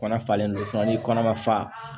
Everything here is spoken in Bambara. Kɔnɔ falenlen do ni kɔnɔ ma fa